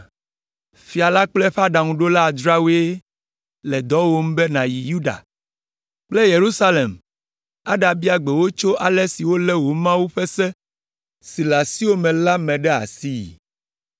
Fia la kple eƒe aɖaŋuɖola adreawoe le dɔwòm be nàyi Yuda kple Yerusalem aɖabia gbe wo tso ale si wolé wò Mawu ƒe Se si le asiwò me la me ɖe asii.